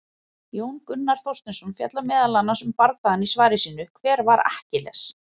Jón Gunnar Þorsteinsson fjallar meðal annars um bardagann í svari sínu, Hver var Akkiles?